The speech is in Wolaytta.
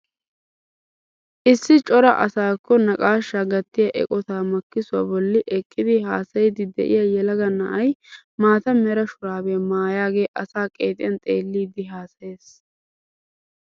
Issi cora asaakko naqashshaa gattiyaa eqotaa makkisuwaa bolli eqqidi hasayiidi de'iyaa yelaga na'ay maata mera shuraabiyaa maayagee asaa qeexiyaan xeelliidi hasayees.